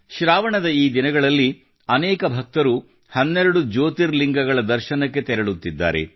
ಶ್ರಾವಣದ ಈ ದಿನಗಳಲ್ಲಿ ಅನೇಕ ಭಕ್ತರು 12 ಜ್ಯೋತಿರ್ಲಿಂಗಗಳ ದರ್ಶನಕ್ಕೆ ತೆರಳುತ್ತಿದ್ದಾರೆ